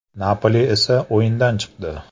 “Napoli” esa o‘yindan chiqdi.